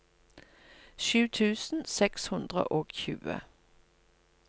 sju tusen seks hundre og tjue